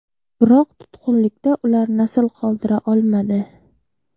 Biroq tutqunlikda ular nasl qoldira olmadi.